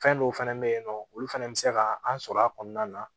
Fɛn dɔw fɛnɛ bɛ yen nɔ olu fana bɛ se ka an sɔrɔ a kɔnɔna na